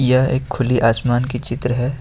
यह एक खुली आसमान की चित्र है।